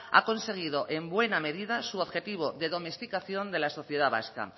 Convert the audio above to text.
ha conseguido en buena medida su objetivo de domesticación de la sociedad vasca